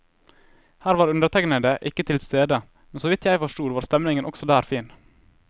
Her var undertegnede ikke tilstede, men såvidt jeg forstod var stemningen også der fin.